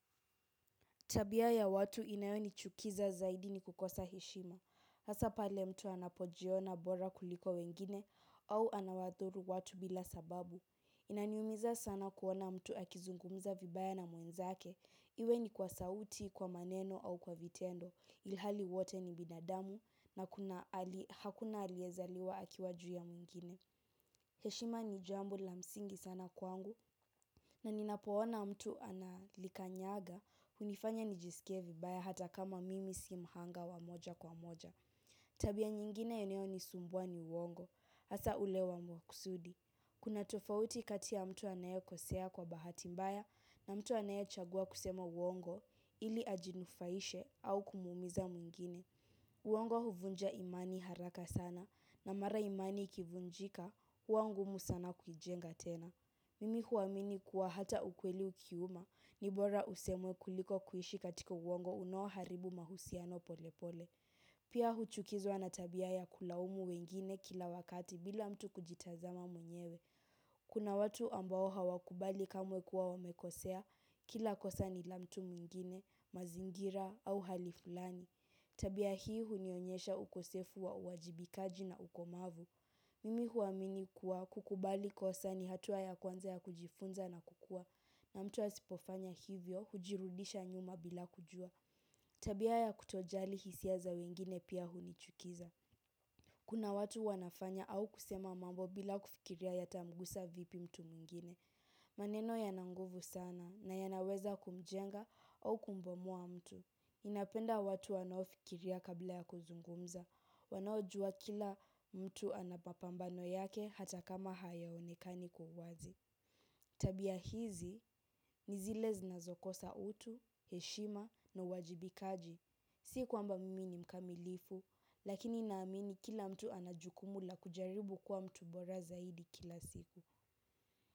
Tabia ya watu inayonichukiza zaidi ni kukosa heshima. Hasa pale mtu anapo jiona bora kuliko wengine au anawadhuru watu bila sababu inaniumiza sana kuona mtu akizungumza vibaya na mwenzake. Iwe ni kwa sauti, kwa maneno au kwa vitendo. Ilhali wote ni binadamu na hakuna aliezaliwa akiwa juu ya mwingine. Heshima ni jambo la msingi sana kwangu. Na ninapoona mtu analika nyaga, hunifanya nijisikie vibaya hata kama mimi si mhanga wa moja kwa moja. Tabia nyingine inayo ni sumbua ni uongo, hasa ule wa mwakusudi. Kuna tofauti kati ya mtu anaye kosea kwa bahati mbaya na mtu anaye chagua kusema uongo ili ajinufaishe au kumuumiza mwingine. Uongo huvunja imani haraka sana na mara imani ikivunjika huwa ngumu sana kuijenga tena. Mimi huamini kuwa hata ukweli ukiuma ni bora usemwe kuliko kuishi katika uongo unaoharibu mahusiano pole pole. Pia huchukizwa na tabia ya kulaumu wengine kila wakati bila mtu kujitazama mwenyewe. Kuna watu ambao hawakubali kamwe kuwa wamekosea kila kosa ni la mtu mwingine, mazingira au hali fulani. Tabia hii hunionyesha ukosefu wa uwajibikaji na ukomavu. Mimi huamini kuwa kukubali kosa ni hatua ya kwanza ya kujifunza na kukua na mtu asipofanya hivyo hujirudisha nyuma bila kujua. Tabia ya kutojali hisia za wengine pia hunichukiza. Kuna watu wanafanya au kusema mambo bila kufikiria yatamgusa vipi mtu mwingine. Maneno yana nguvu sana na yanaweza kumjenga au kumbomoa mtu ninapenda watu wanao fikiria kabla ya kuzungumza. Wanaojua kila mtu ana mapambano yake hata kama hayaonekani kwa uwazi. Tabia hizi ni zile zinazokosa utu, heshima na uwajibikaji. Si kwamba mimi ni mkamilifu, lakini naamini kila mtu anajukumu la kujaribu kuwa mtu bora zaidi kila siku.